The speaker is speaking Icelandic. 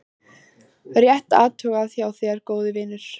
Rétt athugað hjá þér góði vinur.